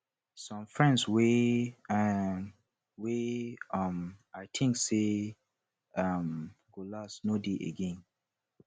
some friends wey um wey um i think sey um go last no de again